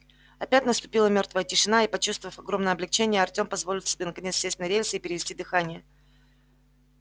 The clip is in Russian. опять наступила мёртвая тишина и почувствовав огромное облегчение артём позволил себе наконец сесть на рельсы и перевести дыхание